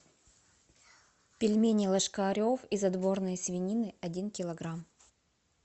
пельмени ложкарев из отборной свинины один килограмм